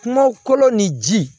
Kuma kɔlɔ ni ji